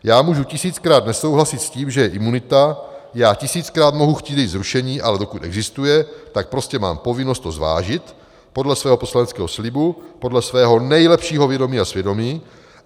Já můžu tisíckrát nesouhlasit s tím, že je imunita, já tisíckrát mohu chtít její zrušení, ale dokud existuje, tak prostě mám povinnost to zvážit podle svého poslaneckého slibu, podle svého nejlepšího vědomí a svědomí.